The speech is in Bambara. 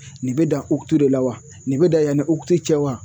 Nin bɛ dan uti de la wa nin bɛ da yanni uti cɛ wa ?